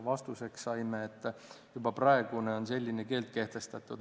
Vastuseks saime, et juba praegu on selline keeld kehtestatud.